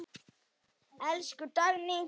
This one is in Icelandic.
Elsku Dagný.